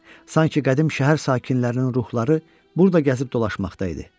Sanki qədim şəhər sakinlərinin ruhları burada gəzib dolaşmaqda idi.